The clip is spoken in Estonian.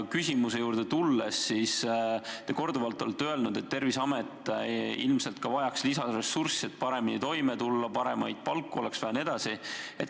Küsimuse juurde tulles, te olete korduvalt öelnud, et ilmselt vajab Terviseamet lisaressurssi, et paremini toime tulla, paremaid palku maksta jne.